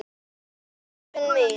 Hennar hugsun mín.